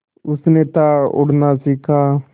उसने था उड़ना सिखा